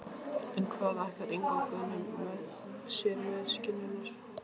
En hvað ætlar Ingvar Guðni sér með skinnurnar?